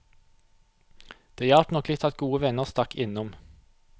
Det hjalp nok litt at gode venner stakk innom.